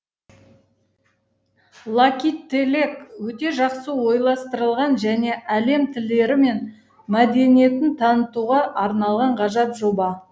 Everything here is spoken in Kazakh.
лакителек өте жақсы ойластырылған және әлем тілдері мен мәдениетін танытуға арналған ғажап жоба